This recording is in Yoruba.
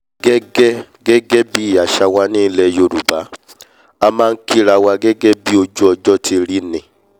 gẹ́gẹ́ gẹ́gẹ́ bí àṣà wa ní ilẹ̀ yorùbá a máa nkírawa gẹ́gẹ́ bí ojú ọjọ́ ti rí ni